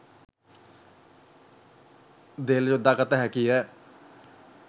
දෙල් යොදා ගත හැකිය